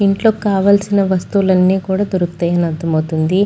ఇంట్లో కావలసిన వస్తువులు అన్నీ దొరుకుతాయని అర్థమవుతుంది.